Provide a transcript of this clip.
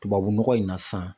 Tubabu nɔgɔ in na sisan